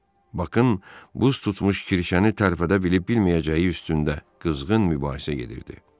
Baxın, buz tutmuş kirişəni tərpədə bilib-bilməyəcəyi üstündə qızğın mübahisə gedirdi.